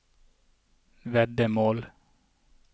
veddemål